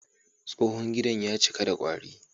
Tsohon gidan ya cika da kwari.